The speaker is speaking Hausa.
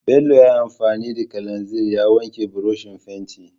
Bello ya yi anfani da kalanzir ya wanke burushin fentin.